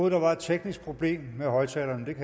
at der var et teknisk problem med højtalerne